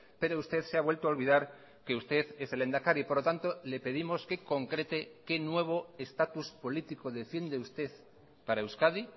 pero usted se ha vuelto a olvidar que usted es el lehendakari por lo tanto le pedimos que concrete qué nuevo estatus político defiende usted para euskadi